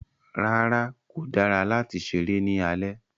Rárá, kò dára láti ṣéré ní alẹ́